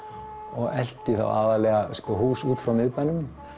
og elti þá aðallega hús út frá miðbænum